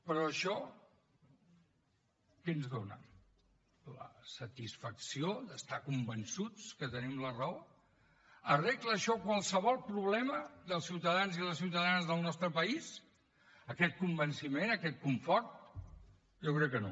però això què ens dona la satisfacció d’estar convençuts que tenim la raó arregla això qualsevol problema dels ciutadans i les ciutadanes del nostre país aquest convenciment aquest confort jo crec que no